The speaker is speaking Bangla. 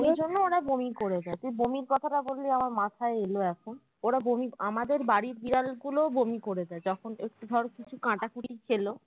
ওই জন্য ওরা বমি করে দেয় যে বমির কথা টা বলি আমার মাথায় এলো এখন ওর বমি আমাদের বাড়ির বিড়াল গুলোও বমি করে দেয় যখন একটু ধর কিছু কাঁটাকুটি খেলো